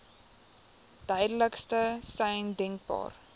duidelikste sein denkbaar